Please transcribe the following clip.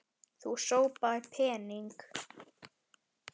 Þú sópaðir pening.